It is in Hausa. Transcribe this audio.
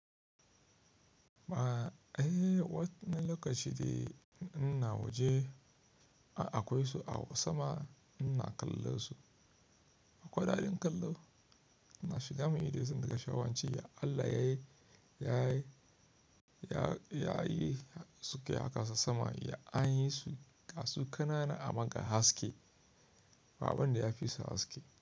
Ba eh, wane lokaci de ina waje akwai su a sama ina kallon su. Akwai daɗin kallo, ina shiga ma yi dai suna daga shawanci. Ya Allah ya yi, ya yi, ya yi suke haka sama ya anyi su, ga su kanana amma ga haske. Ba'abun da ya fisu haske.